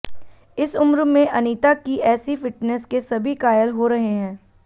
इस उम्र में अनीता की ऐसी फिटनेस के सभी कायल हो रहे हैं